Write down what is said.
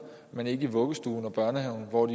men ikke i vuggestuen og børnehaven hvor